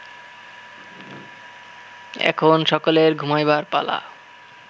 এখন সকলের ঘুমাইবার পালা